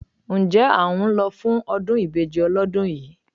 Ǹjẹ́ à ń lọ fún ọdún ìbejì ọlọ́dún yìí?